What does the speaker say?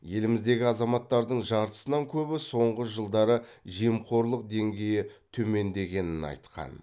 еліміздегі азаматтардың жартысынан көбі соңғы жылдары жемқорлық деңгейі төмендегенін айтқан